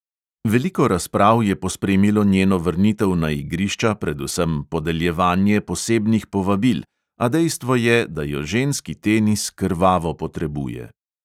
Veliko razprav je pospremilo njeno vrnitev na igrišča, predvsem podeljevanje posebnih povabil, a dejstvo je, da jo ženski tenis krvavo potrebuje.